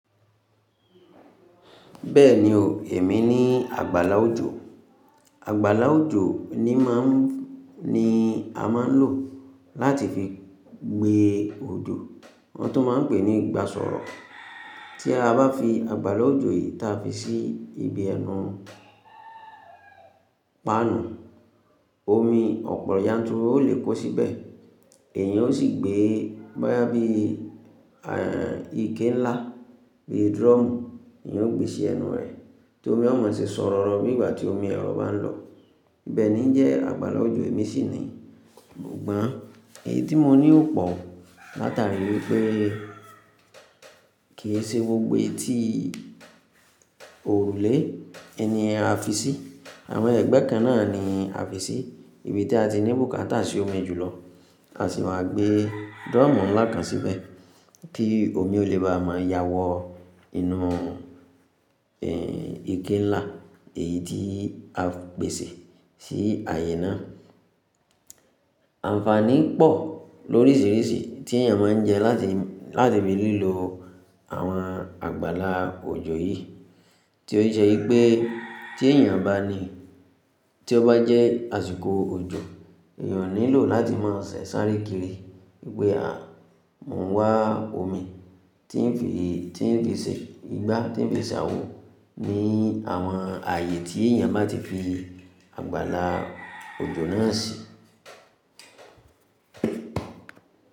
Bẹ́ẹ̀ni o, èmi ní àgbàlá òjò. Àgbàlá òjò ni má ń ni a máa ń lò láti fi gbé òjò, wọn tun máa ń pè ní ìgbásọ̀rọ̀. Tí a bá fi àgbàlá òjò yìí ta fi sí ibi ẹnu pànù, omi ọ̀pọ̀ yanturu ó lè kó síbẹ̀. Èèyàn ó sì gbé bóyá bí, ike ńlá bí drum ni yóò gbé sí ẹnu rẹ̀, tí omi ọ̀ má ṣe sọ̀rọ̀ro bí ìgbà tí omi ẹ̀rọ bá ń lọ. Ibẹ́ẹ̀ nii jẹ àgbàlá òjò èmi sì ni. Sugbọ́n, èyí tí mo ní ò pọ̀ o látàrí wípé kì í ṣe gbogbo etí òrùlé ẹni a fi sí. Àwọn ẹgbẹ́ kan náà ni a fi sí. Ibi tí a ti ní bùkátà sì omi jùlọ. A sì máa gbé drum ńlá kan síbẹ̀ kí omi ó lè bá máa yáwọ́ inú, ike ńlá èyí tí a pèsè sí àyè náà. Ànfàní pọ̀ lórísìrísì tí èèyàn máa ń jẹ láti, láti fi lílọ àwọn àgbàlá òjò yìí. Tí ó ṣe wipé tí èèyàn bá ní, tí ó bá jẹ́ àsìkò òjò, èèyàn ó nílò láti máa ṣẹ̀ sárékire. Pé à mọ̀ ń wá omi tí ń fi, tí ń fi ṣẹ, ìgbà tí ń fi ṣàwó ní àwọn ààyè tí èèyàn bá ti fi àgbàlá òjò náà sí.